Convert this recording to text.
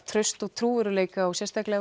traust og trúverðugleika og sérstaklega